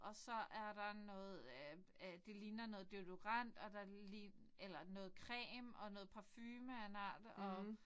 Og så er der noget øh øh det ligner noget deodorant og der eller noget creme og noget parfume af en art og